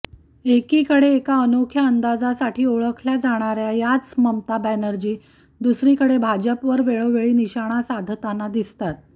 एकिकडे एका अनोख्या अंदाजासाठी ओळखल्या जाणाऱ्या याच ममता बॅनर्जी दुसरीकडे भाजपवर वेळोवेळी निशाणा साधताना दिसतात